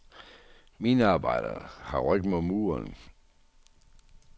Minearbejderne har ryggen mod muren.